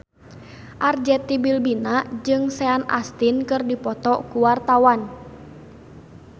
Arzetti Bilbina jeung Sean Astin keur dipoto ku wartawan